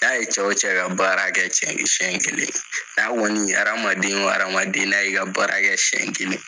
K'a ye cɛw cɛ ka baara kɛɛ sen kelen, n'a kɔni hadamaden hadamaden n'a ye ka baarakɛ sɛn kelen.